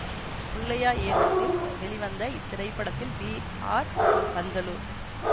புள்ளையா இயக்கத்தில் வெளிவந்த இத்திரைப்படத்தில் பி ஆர் பந்தலு